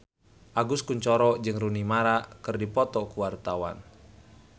Agus Kuncoro jeung Rooney Mara keur dipoto ku wartawan